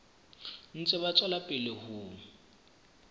ntse ba tswela pele ho